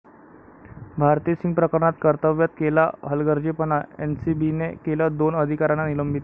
भारती सिंग प्रकरणात कर्तव्यात केला हलगर्जीपणा, एनसीबीने केलं दोन अधिकाऱ्यांना निलंबित!